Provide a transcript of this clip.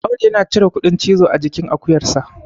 Audu yana cire kuɗin cizo a jikin akuyarsa